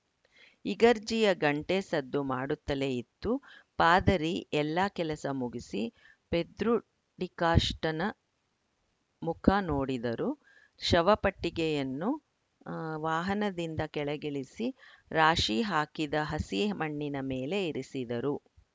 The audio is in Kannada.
ಇಗರ್ಜಿಯ ಗಂಟೆ ಸದ್ದು ಮಾಡುತ್ತಲೇ ಇತ್ತು ಪಾದರಿ ಎಲ್ಲ ಕೆಲಸ ಮುಗಿಸಿ ಪೆದ್ರು ಡಿಕಾಷ್ಟನ ಮುಖ ನೋಡಿದರು ಶವ ಪೆಟ್ಟಿಗೆಯನ್ನು ಆ ವಾಹನದಿಂದ ಕೆಳಗಿಳಿಸಿ ರಾಶಿ ಹಾಕಿದ ಹಸಿ ಮಣ್ಣಿನ ಮೇಲೆ ಇರಿಸಿದರು